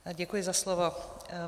Děkuji za slovo.